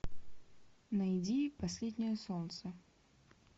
найди последнее солнце